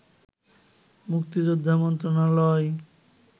মুক্তিযোদ্ধা মন্ত্রণালয়